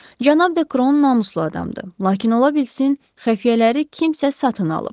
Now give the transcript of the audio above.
Cənab Dekron namuslu adamdır, lakin ola bilsin xəfiyyələri kimsə satın alıb.